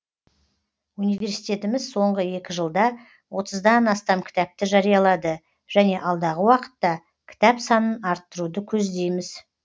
университетіміз соңғы екі жылда отыздан астам кітапты жариялады және алдағы уақытта кітап санын арттыруды көздейміз